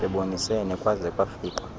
bebonisene kwaze kwafikwa